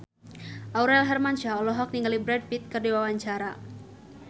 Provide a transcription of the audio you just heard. Aurel Hermansyah olohok ningali Brad Pitt keur diwawancara